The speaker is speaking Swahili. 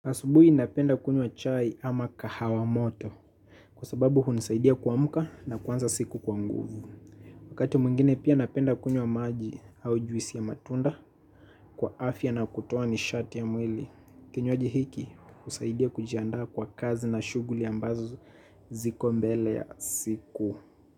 Asubuhi napenda kunywa chai ama kahawa moto kwa sababu hunisaidia kuamka na kuanza siku kwa nguvu. Wakati mwingine pia napenda kunywa maji au juisi ya matunda kwa afya na kutoa nishati ya mwili. Kinywaji hiki husaidia kujiandaa kwa kazi na shughuli ambazo ziko mbele ya siku.